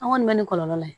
An kɔni bɛ ni kɔlɔlɔ ye